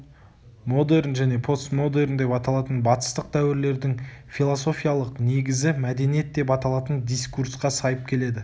модерн және постмодерн деп аталатын батыстық дәуірлердің философиялық негізі мәдениет деп аталатын дискурсқа сайып келеді